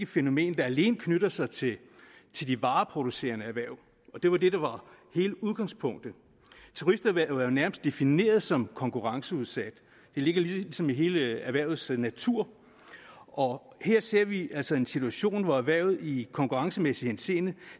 fænomen der alene knytter sig til til de vareproducerende erhverv det var det der var hele udgangspunktet turisterhvervet er jo nærmest defineret som konkurrenceudsat det ligger ligesom i hele erhvervets natur og her ser vi altså en situation hvor erhvervet i konkurrencemæssig henseende